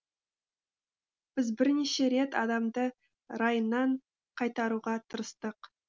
біз бірнеше рет адамды райынан қайтаруға тырыстық